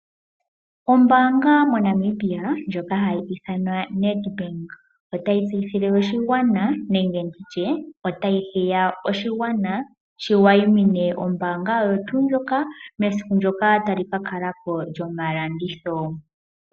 Ombaanga yomoNamibia ndjoka hayi ithanwa Nedbank otayi tseyithile oshigwana, osho wo okuhiya oshigwana shi wayimine ombaanga oyo tuu ndjoka, mesiku ndyoka tali ka kala po lyomalanditho.